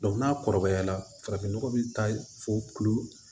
n'a kɔrɔbayala farafin nɔgɔ bi taa fɔ kulu